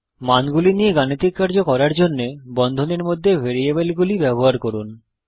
মানগুলি নিয়ে গাণিতিক কার্য করার জন্যে বন্ধনীর মধ্যে ভেরিয়েবলগুলি ব্যবহার করুন